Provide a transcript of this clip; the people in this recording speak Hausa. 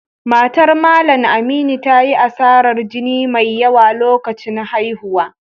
Matar Mallam Aminu ta yi asarar jini mai yawa a lokacin haihuwa